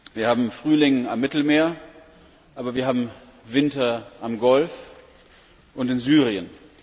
Wir haben Frühling am Mittelmeer, aber wir haben Winter am Golf und in Syrien.